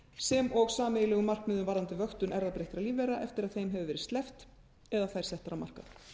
sem og sameiginlegum markmiðum varðandi vöktun erfðabreyttra lífvera eftir að þeim hefur verið sleppt eða þær settar á markað